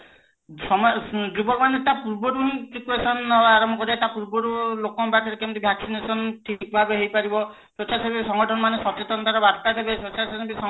ସମ ଯୁବକ ମାନେ ତା ପୂର୍ବରୁ ହିଁ precaution ନବା ଆରମ୍ଭ କରିବେ ତା ପୂର୍ବରୁ ଲୋକଙ୍କ ପାଖରେ କେମିତି ଠିକ ଭାବେ ହେଇପାରିବ ସ୍ବେଛାସେବୀ ସଂଗଠନ ମାନେ ସଚେତନତା ର ବାର୍ତା ଦେବେ ସ୍ବେଛାସେବୀ